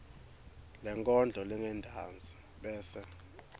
lenkondlo lengentasi bese